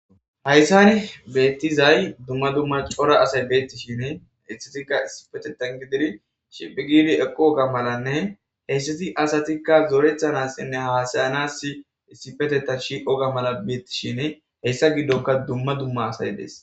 hayssani beettizay dumma dumma cora asay beettishine issitikka isipetetan gididi shiphi giidi eqqo ga malanne heyssiti asatikka zoorethanassinne haasayanass issipeteta shiqoga mala beettishine heyssa giddoka dumma dumma asay des